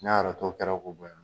N'a yɛrɛ tɔ kɛra ko bɔ yan dun.